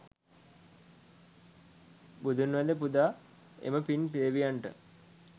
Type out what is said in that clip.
බුදුන් වැඳ පුදා එම පින් දෙවියන්ට